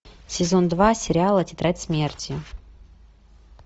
сезон два сериала тетрадь смерти